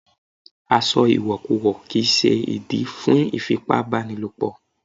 Aṣọ ìwọ̀kuwọ̀ kì ń ṣe ìdí fún ìfipá bá ni lò pọ̀.